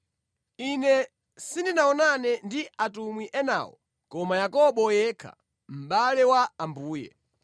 Ine sindinaonane ndi atumwi enawo koma Yakobo yekha, mʼbale wa Ambuye.